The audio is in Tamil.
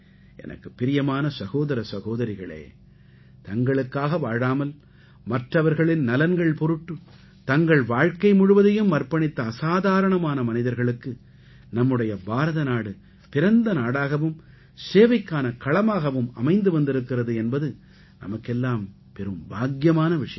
எனக்குப் பிரியமான சகோதர சகோதரிகளே தங்களுக்காக வாழாமல் மற்றவர்களின் நலன்கள் பொருட்டு தங்கள் வாழ்க்கை முழுவதையும் அர்ப்பணித்த அசாதாரண மனிதர்களுக்கு நம்முடைய பாரத நாடு பிறந்த நாடாகவும் சேவைக்கான களமாகவும் அமைந்து வந்திருக்கிறது என்பது நமக்கெல்லாம் பெரும் பாக்கியமான விஷயம்